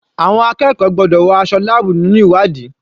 Àwọn akẹ́kọ̀ọ́ gbọ́dọ̀ wọ aṣọ láàbù nígbà ìwádìí.